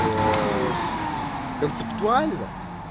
в концептуально